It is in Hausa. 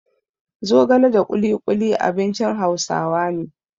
Zogala da ƙuluƙuli abincin Hausawa ne.